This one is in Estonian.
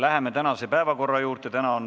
Läheme tänase päevakorra juurde.